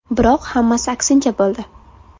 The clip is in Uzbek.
Biroq hammasi aksincha bo‘ldi.